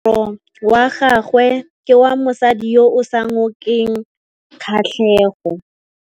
Moaparô wa gagwe ke wa mosadi yo o sa ngôkeng kgatlhegô.